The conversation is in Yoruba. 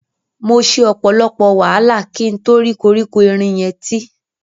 Mo ṣe ọ̀pọ̀lọpọ̀ wàhálà kí n to rí koríko erin yẹn tí.